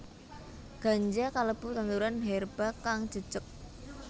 Ganja kalebu tanduran herba kang jejeg